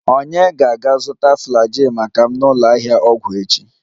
Ònye ga-aga zụta Flagyl maka m na ụlọ ahịa ọgwụ echi?